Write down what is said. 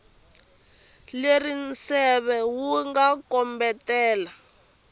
leri nseve wu nga kombetela